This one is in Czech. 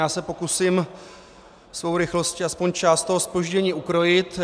Já se pokusím svou rychlostí aspoň část toho zpoždění ukrojit.